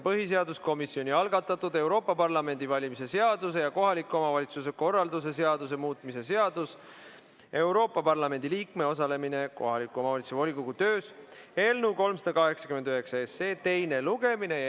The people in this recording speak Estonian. Põhiseaduskomisjoni algatatud Euroopa Parlamendi valimise seaduse ja kohaliku omavalitsuse korralduse seaduse muutmise seaduse eelnõu 389 teine lugemine.